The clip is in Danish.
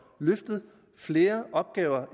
løftet flere opgaver